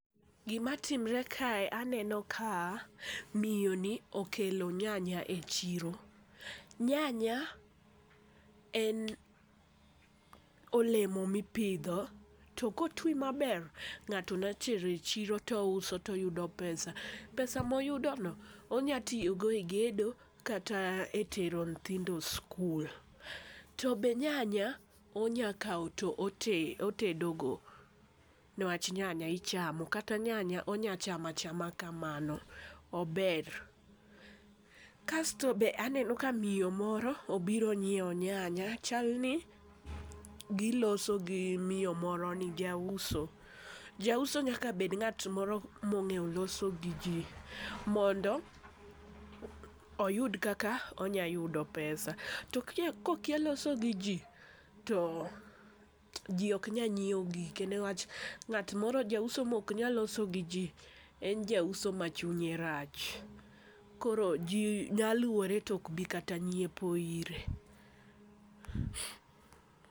Gima timore kae, aneno ka miyo ni okelo nyanya e chiro. Nyanya en olemo ma ipidho, to koti maber, ngáto nya tero e chiro to ouso to oyudo pesa. Pesa moyudo no onyalo tiyo go e gedo kata e tero nyithindo sikul. To be nyanya, onyakawo to otedogo. Niwach nyany ichamo. Kata nyanya onyachamo achama kamano. Ober. Kasto be aneno ka miyo moro obiro nyiewo nyanya. Chalni giloso gi miyo moro ni, jauso. Jauso nyaka bed ngát moro ma ongéyo loso gi ji. Mondo oyud kaka onyayudo pesa. To kokia loso gi ji, to ji oknyal nyiewo gike. Newach, ngát moro, jauso ma oknal loso gi ji, en jauso ma chunye rach. Koro ji nyaluore to okbi kata nyiepo ire.